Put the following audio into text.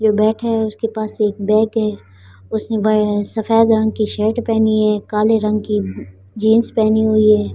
जो बैठे हैं उसके पास एक बैग है उसने बे सफेद रंग की शर्ट पहनी है काले रंग की जींस पहनी हुई है।